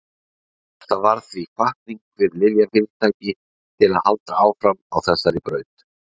Þetta varð því hvatning fyrir lyfjafyrirtæki til að halda áfram á þessari braut.